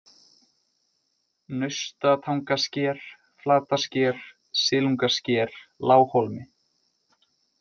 Naustatangasker, Flatasker, Silungasker, Lághólmi